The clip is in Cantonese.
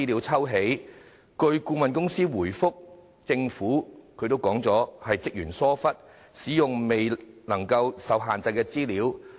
據相關顧問公司回覆，問題源於職員疏忽，使用了受限制的資料。